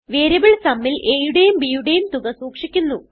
variable sumൽ a യുടേയും bയുടേയും തുക സൂക്ഷിക്കുന്നു